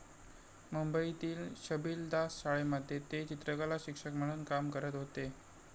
मुंबईतील छबिलदास शाळेमध्ये ते चित्रकलाशिक्षक म्हणून काम करत होते.